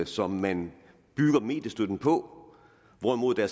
som man bygger mediestøtten på hvorimod der